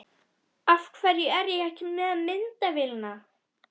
Af hverju er ég ekki með myndavélina?